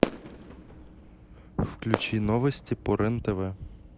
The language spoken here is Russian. включи новости по рен тв